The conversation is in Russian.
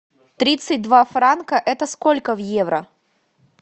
тридцать два франка это сколько в евро